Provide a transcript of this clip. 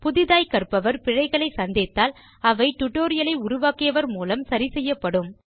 புதிதாய்க் கற்பவர் பிழைகளைச் சந்தித்தால் அவை டியூட்டோரியல் ஐ உருவாக்கியவர் மூலம் சரி செய்யப்படும்